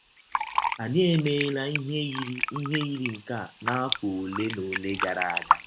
Anyị emeela ihe yiri ihe yiri nke a n’afọ ọle na ọle gara aga.